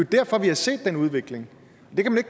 derfor vi har set den udvikling